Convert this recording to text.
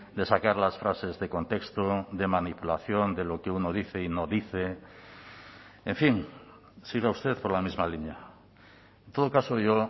de sacar las frases de contexto de manipulación de lo que uno dice y no dice en fin siga usted por la misma línea en todo caso yo